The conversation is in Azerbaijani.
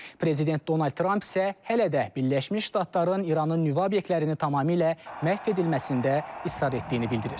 Prezident Donald Tramp isə hələ də Birləşmiş Ştatların İranın nüvə obyektlərini tamamilə məhv edilməsində israr etdiyini bildirir.